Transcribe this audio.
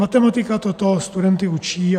Matematika toto studenty učí.